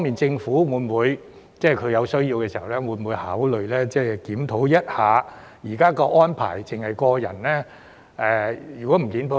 政府會否在有需要時，考慮檢討現時查閱安排只適用於個人的情況？